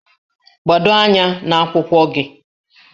Gbado anya n'akwụkwọ gị!